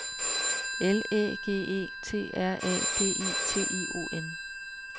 L Æ G E T R A D I T I O N